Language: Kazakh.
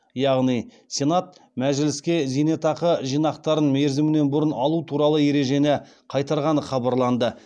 яғни сенат мәжіліске зейнетақы жинақтарын мерзімінен бұрын алу туралы ережені қайтарғаны хабарланды